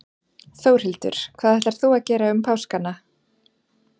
Þórhildur: Hvað ætlar þú að gera um páskana?